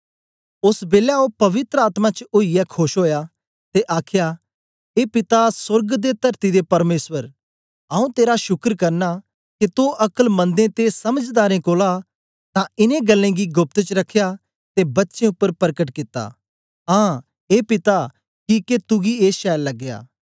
ओस बेलै ओ पवित्र आत्मा च ओईयै खोश ओया ते आखया ए पिता सोर्ग ते तरती दे परमेसर आऊँ तेरा शुकर करना के तो अकलमन्दें ते समझदारें कोलां तां इनें गल्लें गी गोप्त च रखया ते बच्चें उपर परकट कित्ता आं ए पिता किके तुगी ए छैल लगया